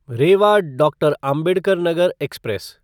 Rewa doctor Ambedkar Nagar express